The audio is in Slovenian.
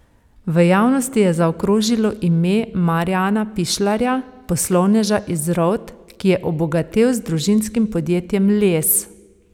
V javnosti je zakrožilo ime Marjana Pišljarja, poslovneža iz Rovt, ki je obogatel z družinskim podjetjem Les.